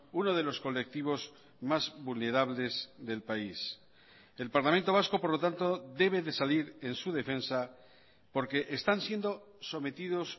uno de los colectivos más vulnerables del país el parlamento vasco por lo tanto debe de salir en su defensa porque están siendo sometidos